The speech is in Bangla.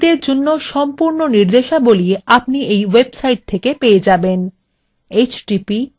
ব্যবহারকারীদের জন্য সম্পূর্ণ নির্দেশাবলী আপনি এই website থেকে পেয়ে যাবেন